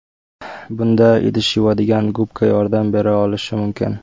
Bunda idish yuvadigan gubka yordam bera olishi mumkin.